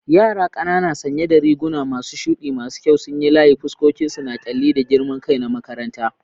Yara ƙanana sanye da riguna masu shuɗi masu kyau sun yi layi, fuskokinsu na ƙyalli da girman kai na makaranta.